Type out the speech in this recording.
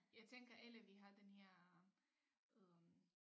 Jeg tænker alle vi har den her øh